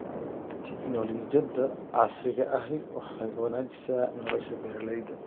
Tignoolajiyada casriga ahi waxay wanaajisaa nolosha beeralayda.